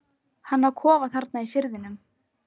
Hann á kofa þarna í firðinum.